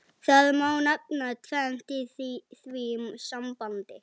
Það má nefna tvennt í því sambandi.